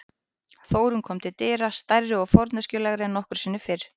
Þórunn kom til dyra, stærri og forneskjulegri en nokkru sinni fyrr.